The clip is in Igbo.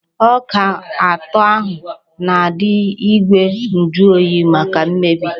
Ọka ụtọ ahụ na-adị n'igwe njuoyi, maka imebi.